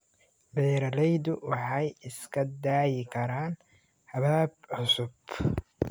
Beeraleydu waxay isku dayi karaan habab cusub.